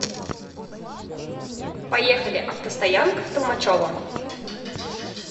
поехали автостоянка в толмачево